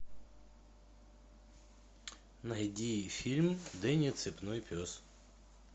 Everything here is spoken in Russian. найди фильм дэнни цепной пес